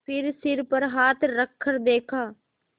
फिर सिर पर हाथ रखकर देखा